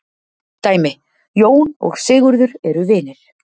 Dæmi: Jón og Sigurður eru vinir.